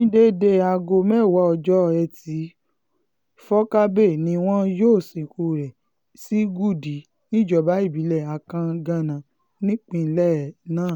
ní déédéé aago mẹ́wàá ọjọ́ etí um furcabee ni wọn yóò sìnkú rẹ̀ sí gúdí um níjọba ìbílẹ̀ akanganá nípínjlẹ̀ náà